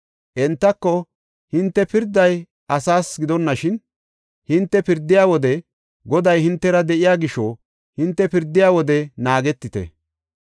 Entako, “Hinte pirdey asasa gidonashin, hinte pirdiya wode Goday hintera de7iya gisho hinte pirdiya wode naagetite.